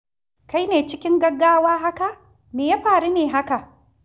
Kai ne cikin gaggawa haka? Me ya faru ne haka?